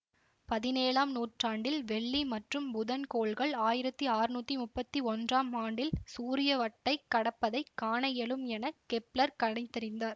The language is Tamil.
பதினேழாம் நூற்றாண்டில் வெள்ளி மற்றும் புதன் கோள்கள் ஆயிரத்தி ஆற்நூத்தி முப்பத்தி ஒன்றாம் ஆண்டில் சூரிய வட்டைக் கடப்பதைக் காண இயலும் என கெப்ளர் கணித்தறிந்தார்